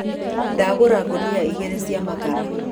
Ndagũra ngũnia igĩrĩ cia makara.